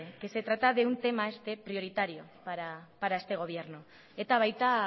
que se trata de un tema este prioritario para este gobierno eta baita